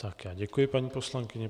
Tak já děkuji paní poslankyni.